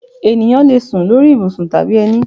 Ẹ̀yán lè sún lórí ibùsùn tàbí ẹni